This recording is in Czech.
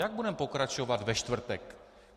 Jak budeme pokračovat ve čtvrtek?